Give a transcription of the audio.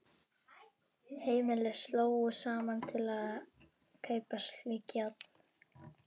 Heimili slógu saman til að kaupa slík járn.